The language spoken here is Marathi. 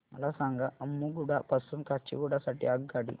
मला सांगा अम्मुगुडा पासून काचीगुडा साठी आगगाडी